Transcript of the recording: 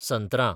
संत्रां